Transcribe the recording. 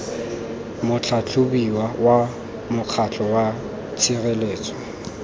motlhatlhobiwa wa mokgatlho wa tshireletso